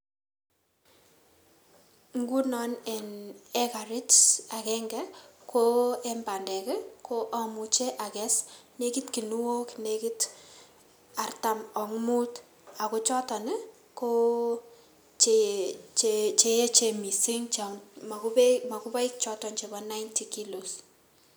Nguno eng hekarit agenge eng bandek, ko amuche akes nekit kunuok nekit artam ak muut ako choton ko che echen mising cho makupoik chobon nineety kilos.